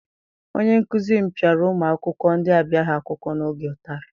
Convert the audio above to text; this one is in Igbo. Onye nkụzi m piara ụmụ akwụkwọ ndị abịaghị akwụkwọ n'oge ụtarị.